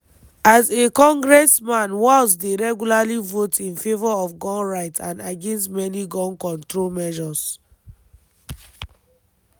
as a congressman walz dey regularly vote in favour of gun rights and against many gun control measures.